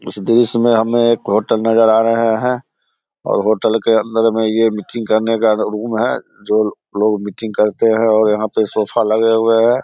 इस दृश्य में हमें एक होटल नजर आ रहा है और होटल के अंदर में ये मीटिंग करने का रूम है जो लोग मीटिंग करते हैं और यहाँ पे सोफा लगे हुए हैं।